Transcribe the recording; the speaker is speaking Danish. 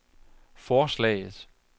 forslaget